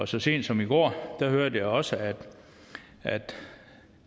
så sent som i går hørte jeg også at